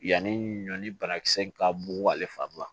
Yanni ɲɔ ni banakisɛ in ka bon ale fari la